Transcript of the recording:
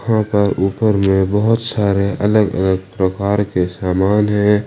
ऊपर में अलग अलग प्रकार के बहुत सारे अलग अलग प्रकार के समान है।